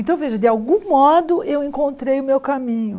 Então, veja, de algum modo eu encontrei o meu caminho.